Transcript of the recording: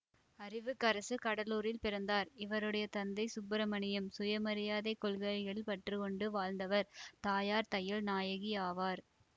அறிவுக்கரசு கடலூரில் பிறந்தார் இவருடைய தந்தை சுப்பிரமணியம் சுயமரியாதைக் கொள்கைளில் பற்று கொண்டு வாழ்ந்தவர் தாயார் தையல் நாயகி ஆவார்